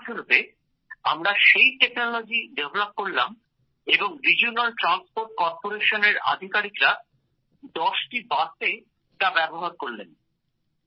২০১৭১৮ তে আমরা সেই প্রযুক্তি উদ্ভাবন করলাম এবং রিজিওনাল ট্রান্সপোর্ট করপোরেশনের আধিকারিকরা দশটি বাসে তা ব্যবহার করলেন